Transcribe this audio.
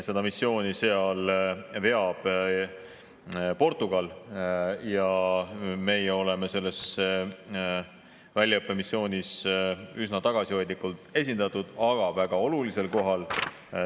Seda missiooni veab Portugal ja meie oleme sellel väljaõppemissioonil üsna tagasihoidlikult esindatud, aga väga olulisel kohal.